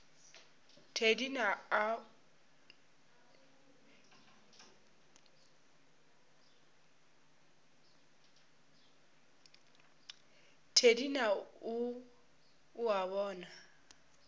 thedi na o a bona